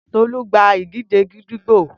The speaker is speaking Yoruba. Tolu gba idije gídígbò